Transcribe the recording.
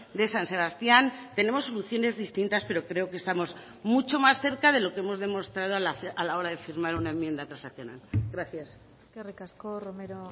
de san sebastián tenemos soluciones distintas pero creo que estamos mucho más cerca de lo que hemos demostrado a la hora de firmar una enmienda transaccional gracias eskerrik asko romero